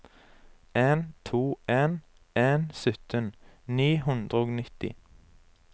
en to en en sytten ni hundre og nitti